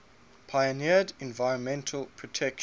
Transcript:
pioneered environmental protection